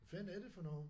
Fanden er det for noget